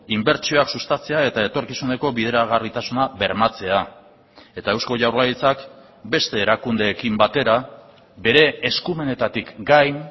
inbertsioak sustatzea eta etorkizuneko bideragarritasuna bermatzea eta eusko jaurlaritzak beste erakundeekin batera bere eskumenetatik gain